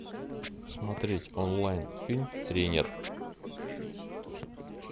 смотреть онлайн фильм тренер